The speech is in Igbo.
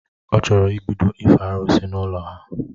Ọ chọrọ ịbido ife arụsị n’ụlọ ya